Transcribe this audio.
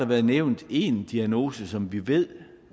blevet nævnt en diagnose som vi ved